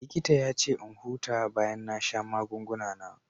Likita ya ce in huta bayan na sha magunguna na.